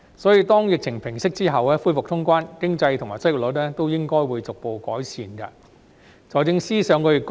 因此，當疫情平息，恢復通關後，經濟和失業率都應該會逐步改善。